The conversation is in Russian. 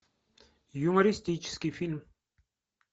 юмористический фильм